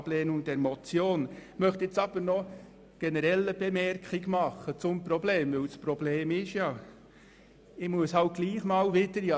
Ich möchte aber noch eine generelle Anmerkung zu diesem Problem machen, welches ja tatsächlich besteht: